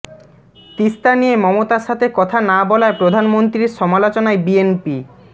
তিস্তা নিয়ে মমতার সাথে কথা না বলায় প্রধানমন্ত্রীর সমালোচনায় বিএনপি